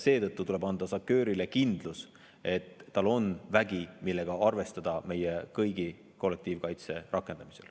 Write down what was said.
Seetõttu tuleb anda SACEUR-ile kindlus, et tal on vägi, millega saab arvestada meie kõigi kollektiivkaitse rakendamisel.